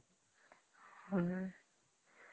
ହମ୍ମ